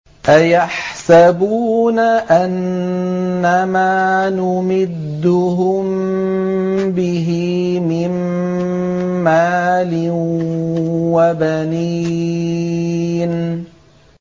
أَيَحْسَبُونَ أَنَّمَا نُمِدُّهُم بِهِ مِن مَّالٍ وَبَنِينَ